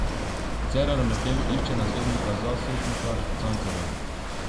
Cerar medtem išče naslednika za Setnikar Cankarjevo.